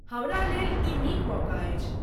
हमरा लेल ई नीक मौका अछि।